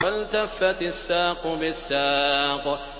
وَالْتَفَّتِ السَّاقُ بِالسَّاقِ